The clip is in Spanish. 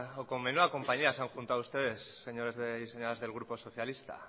o con menuda compañía se han juntado ustedes señores y señoras del grupo socialista